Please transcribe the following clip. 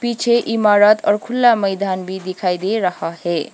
पीछे इमारत और खुला मैदान भी दिखाई दे रहा है।